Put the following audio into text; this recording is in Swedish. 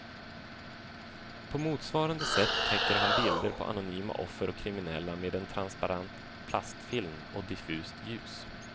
På motsvarande sätt täcker han bilder på anonyma offer och kriminella med en transparent plastfilm och diffust ljus.